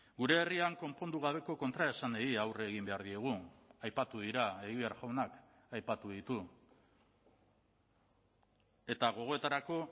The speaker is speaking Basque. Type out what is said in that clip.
gure herrian konpondu gabeko kontraesanei aurre egin behar diegu aipatu dira egibar jaunak aipatu ditu eta gogoetarako